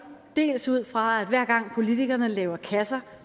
ud fra at hver gang politikerne laver kasser